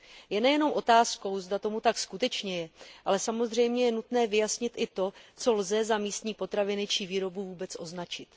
Je nejenom otázkou, zda tomu tak skutečně je, ale samozřejmě je nutné vyjasnit i to, co lze za místní potraviny či výrobu vůbec označit.